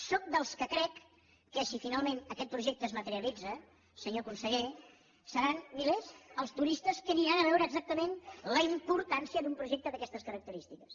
sóc dels que creu que si finalment aquest projecte es materialitza senyor conseller seran milers els turistes que aniran a veure exactament la importància d’un projecte d’aquestes característiques